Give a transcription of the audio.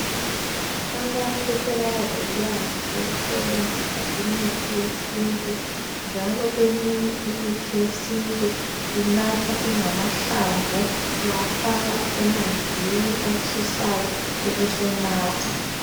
Abantu sebaba lolwazi lokusebenzisa imithi yesintu njalo eminye imithi yesintu inathwa ingamahlamvu .Uyafaka emanzini atshisayo ubusunatha